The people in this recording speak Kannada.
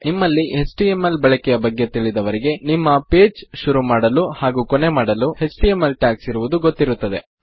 ನಿಮ್ಮಲ್ಲಿ ಎಚ್ಟಿಎಂಎಲ್ ಬಳಕೆಯ ಬಗ್ಗೆ ತಿಳಿದವರಿಗೆ ನಿಮ್ಮ ಪೇಜ್ ಶುರು ಮಾಡಲು ಹಾಗು ಕೊನೆ ಮಾಡಲು ಎಚ್ಟಿಎಂಎಲ್ ಟ್ಯಾಗ್ಸ್ ಇರುವುದು ಗೊತ್ತಿರುತ್ತದೆ